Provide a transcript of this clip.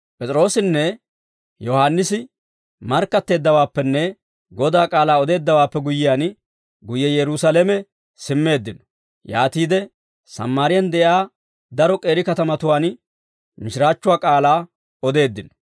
P'es'iroossinne Yohaannisi markkatteeddawaappenne Godaa k'aalaa odeeddawaappe guyyiyaan, guyye Yerusaalame simmeeddino; yaatiide Sammaariyaan de'iyaa daro k'eeri katamatuwaan mishiraachchuwaa k'aalaa odeeddino.